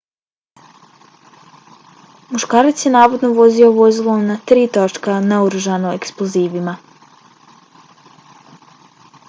muškarac je navodno vozio vozilo na tri točka naoružano eksplozivima